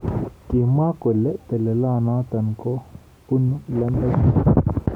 Kimwa kole telelonotok ko bonu lembech.